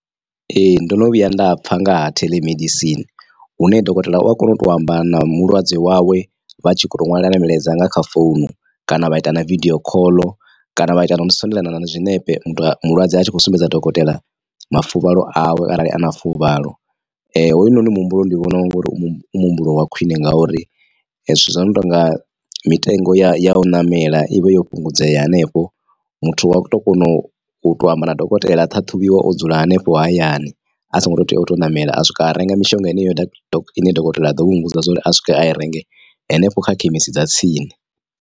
Ee ndono vhuya nda pfha nga ha theḽemedisini hune dokotela u a kona u to amba na mulwadze wawe vha tshi kho to ṅwalelana milaedza nga kha founu kana vha ita na video khoḽo kana vha ita na u sendelana na zwiṋepe mulwadze a tshi khou sumbedza dokotela mafuvhalo awe arali a na fuvhalo. Hoyunoni muhumbulo ndi vhona ngori u mu muhumbulo wa khwine ngauri zwithu zwi no tonga mitengo ya ya u ṋamela ivha yo fhungudzea hanefho muthu wa to kona u to amba na dokotela a ṱhaṱhuvhiwa o dzula hanefho hayani a songo to tea uto ṋamela a swika a renga mishonga heneyo ine dokotela a ḓo vha o muvhudza uri a swike a i renge hanefho kha khemisi dza tsini.